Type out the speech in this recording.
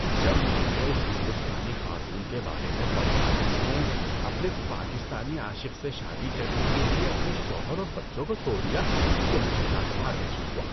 جب میں نے اس ہندوستانی خاتون کے بارے میں پڑھا جس نے اپنے پاکستانی عاشق سے شادی کرنے کے لیے اپنے شوہر اور بچوں کو چھوڑ دیا تو مجھے ناگوار محسوس ہوا۔